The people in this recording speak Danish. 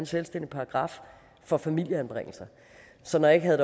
selvstændig paragraf for familieanbringelser så når jeg